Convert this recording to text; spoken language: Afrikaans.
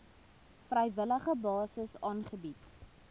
vrywillige basis aangebied